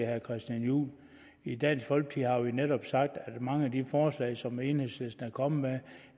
herre christian juhl i dansk folkeparti har vi netop sagt at mange af de forslag som enhedslisten er kommet med